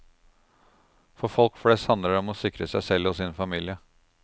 For folk flest handler det om å sikre seg selv og sin familie.